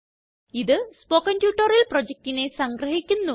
ഇത് spoken tutorial projectനെ സംഗ്രഹിക്കുന്നു